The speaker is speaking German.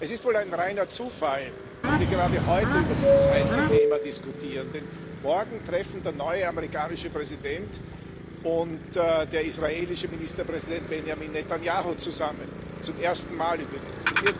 Es ist wohl ein reiner Zufall, dass wir gerade heute über dieses heiße Thema diskutieren, denn morgen treffen der neue amerikanische Präsident und der israelische Ministerpräsident Benjamin Netanjahu zusammen zum ersten Mal übrigens.